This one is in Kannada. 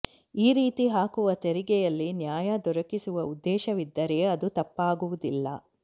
ಈ ರೀತಿ ಹಾಕುವ ತೆರಿಗೆಯಲ್ಲಿ ನ್ಯಾಯ ದೊರಕಿಸುವ ಉದ್ದೇಶವಿದ್ದರೆ ಅದು ತಪ್ಪಾಗುವುದಿಲ್ಲ